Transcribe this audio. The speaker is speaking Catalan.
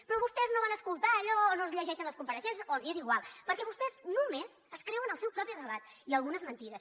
però vostès no van escoltar allò no es llegeixen les compareixences o els és igual perquè vostès només es creuen el seu propi relat i algunes mentides